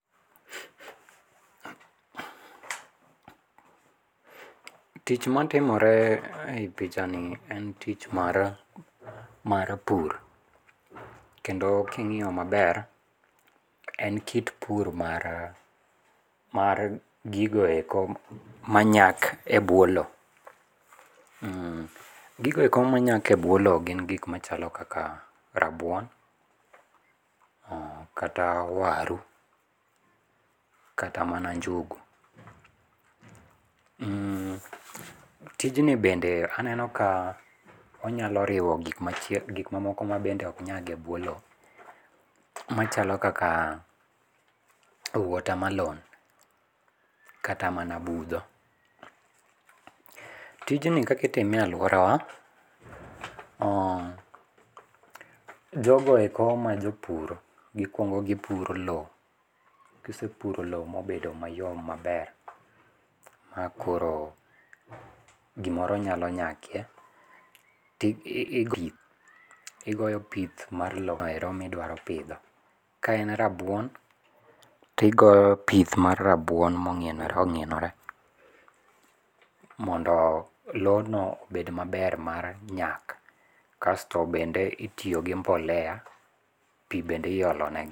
Tich matimore ei pichani en tich mar, mar pur. Kendo kingiyo maber to en kit pur mar, mar gigoeko manyak e buo loo. Gigoeko manyak ebuo looo gin gik machalo kaka rabuon, kata waru kata mana njugu. Mhh, tijni bende aneno ka onyalo riwo gik machiek, gik mamoko mabende ok nyak e buo loo machalo kaka watermelon kata mana budho. Tijni kaka itime e aluorawa, oooh, jogo eko ma jopur gikuongo gipuro loo, kisepuro loo mobedo mayom maber makoro gimoro nyalo nyakie ti i ,igoyo pith mar loero midwaro pidho, kaen rabuon tigoyo pith mar rabuon mong'ienore onginore mondo lono obed maber mar nyak kasto bende itiyo gi mbolea, pii bende iolone.